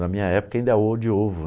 Na minha época ainda é ô de ovo.